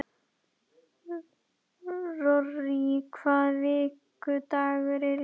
Rorí, hvaða vikudagur er í dag?